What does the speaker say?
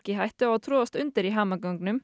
hættu að troðast undir í hamaganginum